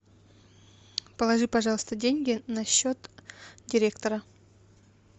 положи пожалуйста деньги на счет директора